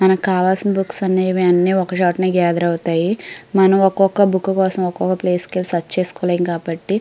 మనకి కావాల్సిన బుక్స్ అన్నీ ఒక చోటనే గేదెర్ అవుతాయి మనం ఒక్కొక్క బుక్ కోసం ఒక్కో ప్లేస్ కి వెళ్లి సర్చ్ చేసుకోలేము కాబట్టి --